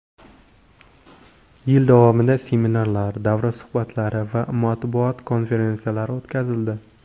Yil davomida seminarlar, davra suhbatlari va matbuot konferensiyalari o‘tkazildi.